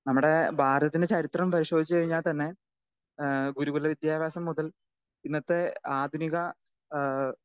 speaker 2 നമ്മടെ ഭാരതത്തിൻ്റെ ചരിത്രം പരിശോധിച്ചു കഴിഞ്ഞാൽ തന്നെ ഏഹ് ഗുരുകുല വിദ്യാഭ്യാസം മുതൽ ഇന്നത്തെ ആധുനിക ഏഹ്